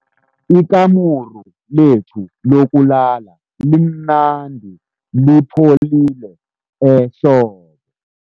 Ikamuru lethu lokulala limnandi lipholile ehlobo.